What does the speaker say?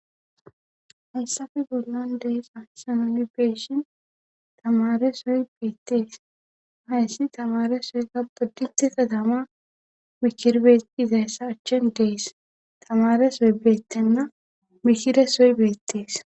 Hayssafe bollan dees asamoli beeshin tamare soy beettees hayssi tamare soyga bodditi ta tama mikirbee izayssa achchen dees tamare soy beettenna mikire soy beettees.